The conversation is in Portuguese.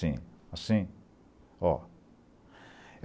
Sim, assim ó.